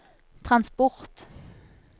transport